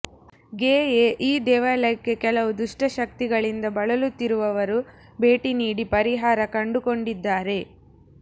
ಗೆಯೇ ಈ ದೇವಾಲಯಕ್ಕೆ ಕೆಲವು ದುಷ್ಟ ಶಕ್ತಿಗಳಿಂದ ಬಳಲುತ್ತಿರುವವರು ಭೇಟಿ ನೀಡಿ ಪರಿಹಾರ ಕಂಡುಕೊಂಡಿದ್ದಾರೆ